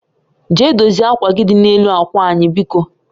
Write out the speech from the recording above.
Jee dozie akwa gị dị na-elu akwa anyị biko